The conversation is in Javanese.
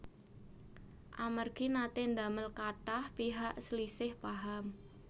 Amargi naté ndamel kathah pihak slisih paham